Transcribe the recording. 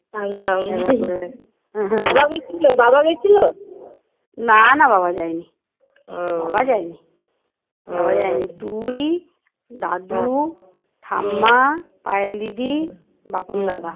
তোর বাবা যায়নি তুই দাদু ঠাম্মা পায়েল দিদি বাপন দাদা